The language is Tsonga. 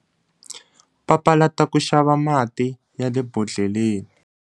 Papalata ku xava mati ya le bodhleleni.